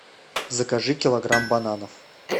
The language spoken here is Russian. закажи килограмм бананов